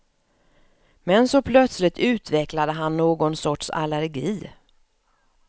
Men så plötsligt utvecklade han någon sorts allergi.